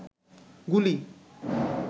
গুলি